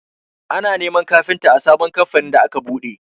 Ana neman kafinta a sabon kamfanin da aka buɗe.